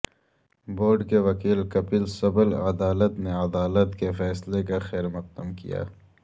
board کے وکیل کپل سبل عدالت نے عدالت کے فیصلے کا خیر مقدم کیا